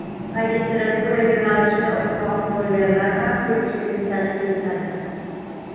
Magistratura yo‘nalishida o‘qimoqchi bo‘lganlar ham ko‘pchilikni tashkil etadi.